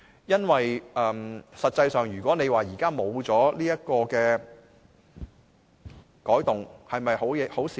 因為實際上，如果現在沒有這個改動是否好事呢？